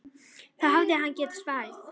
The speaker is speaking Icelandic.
Það hefði hann getað svarið.